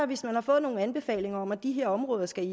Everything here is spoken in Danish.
hvis man har fået nogle anbefalinger om at de her områder skal